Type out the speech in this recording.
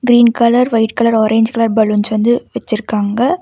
Green colour white colour orange colour balloons வந்து வச்சுருக்காங்க.